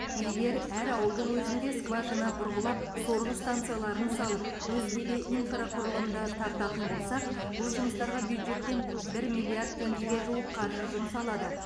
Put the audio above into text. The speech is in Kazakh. егер әр ауылдың өзінде скважина бұрғылап сорғы станцияларын салып өзге де инфрақұрылымды тартатын болсақ бұл жұмыстарға бюджеттен бір миллиард теңгеге жуық қаржы жұмсалады